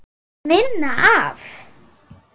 En minna af?